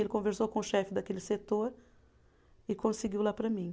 Ele conversou com o chefe daquele setor e conseguiu lá para mim.